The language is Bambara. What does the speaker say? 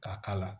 K'a k'a la